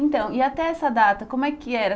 Então, e até essa data, como é que era?